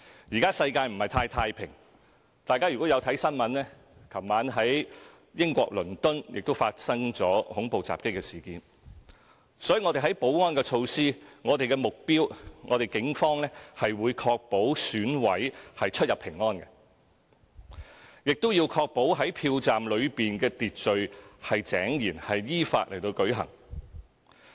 現在世界不是很太平，大家有看新聞的話，都會看到昨晚在英國倫敦發生了恐怖襲擊的事件，所以我們在保安措施方面，警方的目標是確保選委可以出入平安，亦要確保票站內秩序井然，選舉依法舉行。